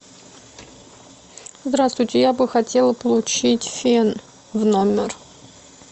здравствуйте я бы хотела получить фен в номер